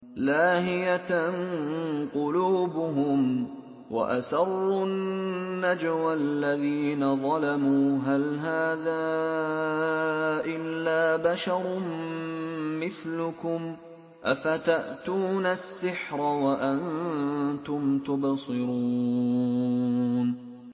لَاهِيَةً قُلُوبُهُمْ ۗ وَأَسَرُّوا النَّجْوَى الَّذِينَ ظَلَمُوا هَلْ هَٰذَا إِلَّا بَشَرٌ مِّثْلُكُمْ ۖ أَفَتَأْتُونَ السِّحْرَ وَأَنتُمْ تُبْصِرُونَ